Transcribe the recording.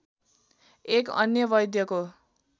एक अन्य वैद्यको